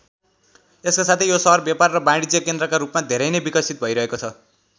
यसको साथै यो सहर व्यापार र वाणिज्य केन्द्रका रूपमा धेरै नै विकसित भैरहेको छ।